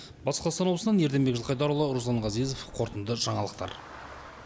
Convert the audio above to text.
батыс қазақстан облысынан ерденбек жылқайдарұлы руслан ғазезов қорытынды жаңалықтар